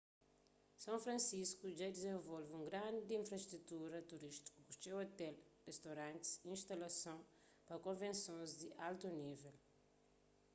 são francisco dja dizenvolve un grandi infrastrutura turístiku ku txeu ôtel ristoranti y instalason pa konvensons di altu nível